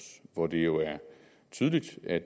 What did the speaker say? hvor det jo er tydeligt at